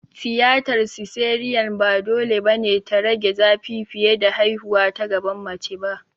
Tiyatar siseriyan ba dole ba ne ta rage zafi fiye da haihuwa ta gaban mace ba.